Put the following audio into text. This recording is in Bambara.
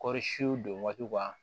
Kɔɔri sun don waatiw kan